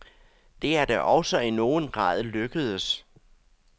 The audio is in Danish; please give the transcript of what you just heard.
Det er da også i nogen grad lykkedes.